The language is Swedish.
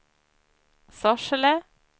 Sorsele